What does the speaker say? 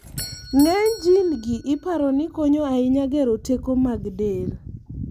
ng'ny jin gi iparo ni konyo ahinya gero teko mag del